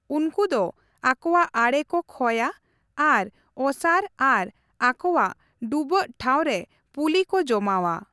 ᱩᱱᱠᱩ ᱫᱚ ᱟᱠᱚᱣᱟᱜ ᱟᱲᱮ ᱠᱚ ᱠᱷᱚᱭᱟ ᱟᱨ ᱚᱥᱟᱨ ᱟᱨ ᱟᱠᱚᱣᱟᱜ ᱰᱩᱵᱟᱹᱜ ᱴᱷᱟᱶ ᱨᱮ ᱯᱩᱞᱤ ᱠᱚ ᱡᱚᱢᱟᱣᱟ ᱾